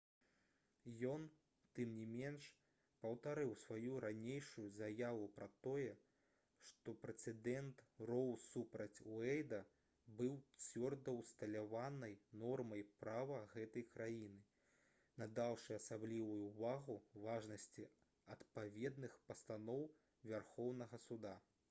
ён тым не менш паўтарыў сваю ранейшую заяву пра тое што прэцэдэнт «роу супраць уэйда» быў «цвёрда ўсталяванай нормай права гэтай краіны» надаўшы асаблівую ўвагу важнасці адпаведных пастаноў вярхоўнага суда